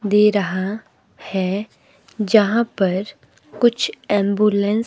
दे रहा है जहां पर कुछ एम्बुलेंस --